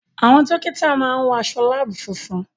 Àwọn dọ́kítà máa ń wọ aṣọ láàbù funfun.